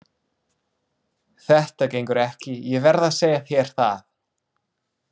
Þetta gengur ekki, ég verð að segja þér það.